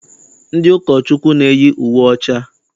Ndị ụkọchukwu na-eyi uwe ọcha.